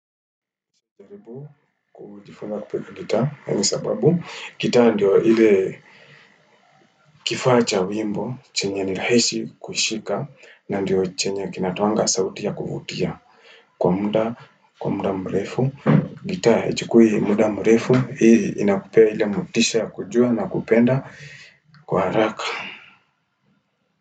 Zabibu kujifunza kupiga gita, hangi sababu, gita ndio hile kifaa cha wimbo, chenye nirahishi kushika, na ndio chenye kinatoanga sautia kufutia kwa muda mrefu, gitaa hichikui muda mrefu, hii inakupea ile motisha kujua na kupenda kwa haraka.